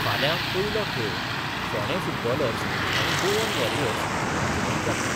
फाल्यां पयलो खेळ फोंडें फुटबॉलर्स आनी गोवन वॉरियर्स हांचें मदीं जातलो.